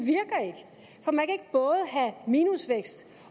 både have minusvækst